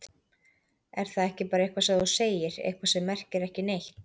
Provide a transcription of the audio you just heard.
Er það ekki bara eitthvað sem þú segir, eitthvað sem merkir ekki neitt?